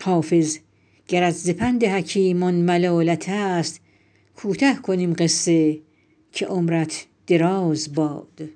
حافظ گرت ز پند حکیمان ملالت است کوته کنیم قصه که عمرت دراز باد